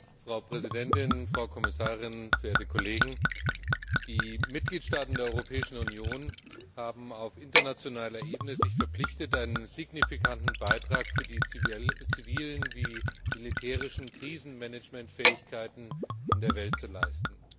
Frau Präsidentin, Frau Kommissarin, verehrte Kolleginnen und Kollegen! Die Mitgliedstaaten der Europäischen Union haben sich auf internationaler Ebene verpflichtet, einen signifikanten Beitrag für die zivilen und militärischen Krisenmanagementfähigkeiten in der Welt zu leisten.